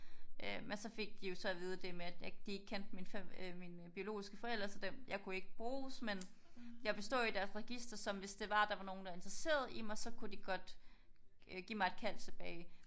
Øh men så fik de jo så at vide det med at de ikke kendte øh mine biologiske forældre så jeg kunne ikke bruges. Men jeg ville stå i deres register som hvis det var at nogen var interesseret i mig